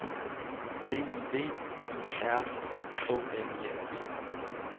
B I V I R K N I N G